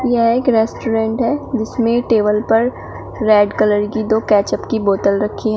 यह एक रेस्टोरेंट है जिसमें टेबल पर रेड कलर की दो कैच अप की बोतल रखी है।